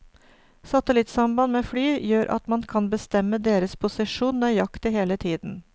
Satellittsamband med fly gjør at man kan bestemme deres posisjon nøyaktig hele tiden.